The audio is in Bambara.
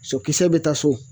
Sɔkisɛ bɛ taa so.